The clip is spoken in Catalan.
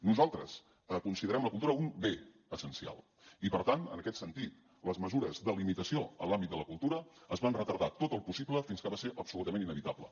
nosaltres considerem la cultura un bé essencial i per tant en aquest sentit les mesures de limitació en l’àmbit de la cultura es van retardar tot el possible fins que va ser absolutament inevitable